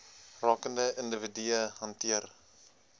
rakende individue hanteer